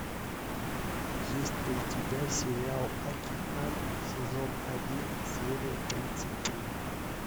есть ли у тебя сериал акикан сезон один серия тридцать три